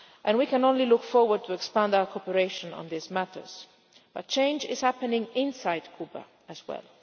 We can only look forward to expanding our cooperation on these matters. But change is happening inside Cuba as well.